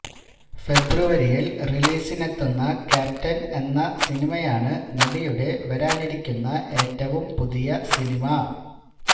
ഫെബ്രുവരിയില് റിലീസിനെത്തുന്ന ക്യാപ്റ്റന് എന്ന സിനിമയാണ് നടിയുടെ വരാനിരിക്കുന്ന ഏറ്റവും പുതിയ സിനിമ